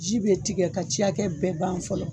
Ji be tigɛ ka ca kɛ bɛɛ ban fɔlɔ